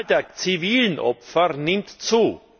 Die Zahl der zivilen Opfer nimmt zu.